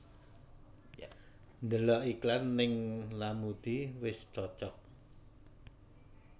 Ndelok iklan ning Lamudi wis cocok